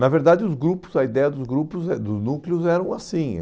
Na verdade, os grupos a ideia dos grupos, eh dos núcleos era assim.